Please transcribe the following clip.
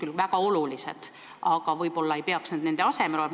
See muu võib olla küll väga oluline, aga võib-olla see ei peaks asendama raamatukogu.